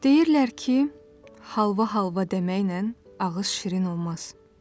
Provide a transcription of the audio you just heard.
Deyirlər ki, halva halva deməklə ağız şirin olmaz.